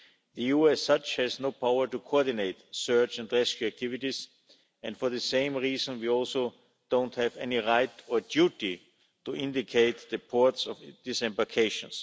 The EU as such has no power to coordinate search and rescue activities, and for the same reason we also have no right or duty to indicate the ports of disembarkations.